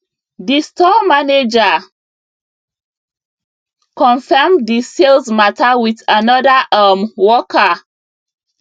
d store manager confirm the sales matter with another um worker